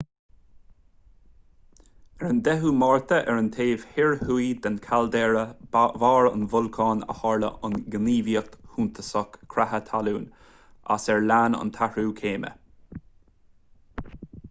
ar an 10 márta ar an taobh thoir thuaidh de chaildéara bharr an bholcáin a tharla an ghníomhaíocht shuntasach creatha talún as ar lean an t-athrú céime